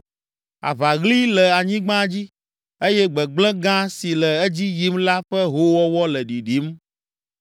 Aʋaɣli le anyigba dzi, eye gbegblẽ gã si le edzi yim la ƒe hoowɔwɔ le ɖiɖim.